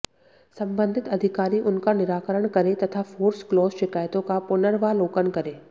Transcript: संबंधित अधिकारी उनका निराकरण करें तथा फोर्स क्लोज शिकायतों का पुनर्वालोकन करें